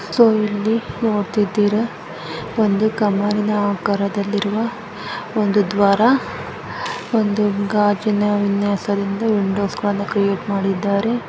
ಇಲ್ಲಿ ನೋಡ್ತಿದ್ದೀರಾ ಒಂದು ಕಂಬದ ಆಕಾರದಲ್ಲಿರುವ ಒಂದು ದ್ವಾರ ಒಂದು ಗಾಜಿನ ವಿನ್ಯಾಸದಿಂದ ವಿಂಡೊಸ ನ್ನು ಕ್ರಿಯೇಟ್ ಮಾಡಿದ್ದಾರೆ .